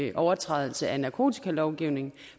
en overtrædelse af narkotikalovgivningen